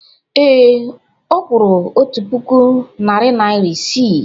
Ee, ọ kwụrụ otu puku narị naịra isii.